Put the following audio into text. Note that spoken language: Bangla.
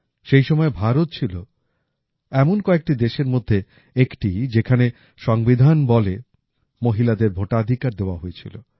সেই সময়ে ভারত ছিল এমন কয়েকটি দেশের মধ্যে একটি যেখানে সংবিধান বলে মহিলাদের ভোটাধিকার দেওয়া হয়েছিল